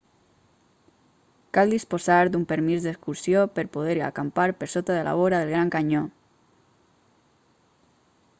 cal disposar d'un permís d'excursió per poder acampar per sota de la vora del gran canyó